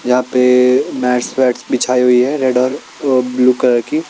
यहाँ पे मैटस वेटस बिछायी हुई है रेड और ब्लू कलर की।